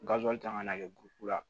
kan ka na kɛ la